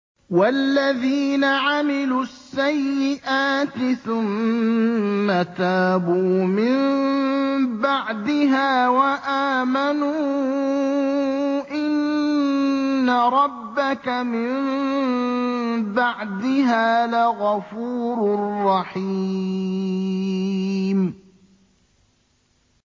وَالَّذِينَ عَمِلُوا السَّيِّئَاتِ ثُمَّ تَابُوا مِن بَعْدِهَا وَآمَنُوا إِنَّ رَبَّكَ مِن بَعْدِهَا لَغَفُورٌ رَّحِيمٌ